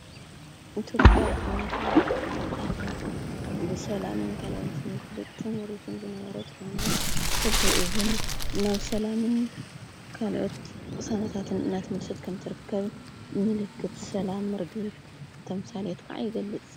ኢትዮጵዖ እናተባለትት ፍለጥ ሃጋር ብሰላምን ካልኦት ምክብጥን ይሪትን ዝነበረት ኮይና ሕዝቢኡብን ናብ ሰላምን ካልኦት ቕሳነታትን እናቲ ምልሰት ከምትርከብ ምልክት ሰላም ኣርግቢል ተምሣልየት ከዓ ይገልጽ።